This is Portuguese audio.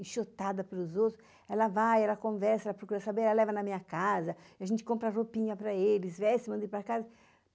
enxutada pelos outros, ela vai, ela conversa, ela procura saber, ela leva na minha casa, a gente compra roupinha para eles, veste, manda ir para casa.